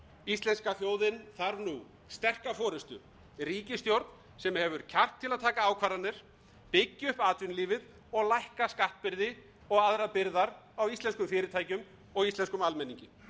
íslenska þjóðin þarf nú sterka forustu ríkisstjórn sem hefur kjark til að taka ákvarðanir byggja upp atvinnulífið og lækka skattbyrði og aðrar byrðar á íslenskum fyrirtækjum og íslenskum almenningi